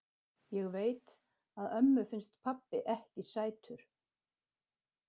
Ég veit að ömmu finnst pabbi ekki sætur.